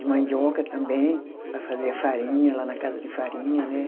De mandioca também, para fazer a farinha lá na casa de farinha, né?